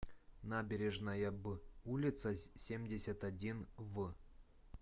набережная б улица семьдесят один в